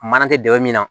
Mana kɛ dingɛ min na